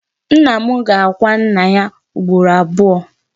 Nna m ga-akwa nnà yá ugboro abụọ.